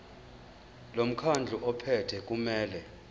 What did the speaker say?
lomkhandlu ophethe kumele